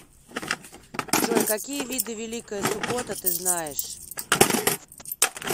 джой какие виды великая суббота ты знаешь